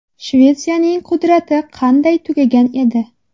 Shvetsiyaning qudrati qanday tugagan edi?